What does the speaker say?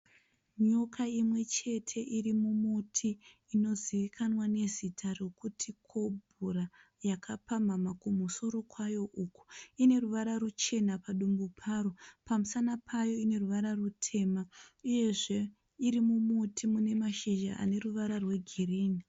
Nyoka imwe chete iri mumuti inozivikanwa nezita rekuti kobhura yakapamhamha kumusoro kwayo uku. Ine ruvara ruchena padumbu payo pamusana payo ine ruvara rutema, uyezve iri mumuti une mashizha ane ruvara rwegirini.